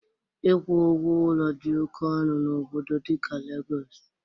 Ịkwụ ụgwọ ụlọ dị oke ọnụ n'obodo dịka Lagos